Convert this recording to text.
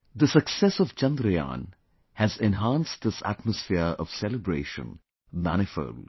The success of Chandrayaan has enhanced this atmosphere of celebration manifold